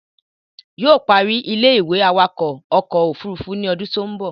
Yóò ó parí ilé-ìwé awakọ̀ ọkọ̀ òfurufú ní odún tó ń bọ̀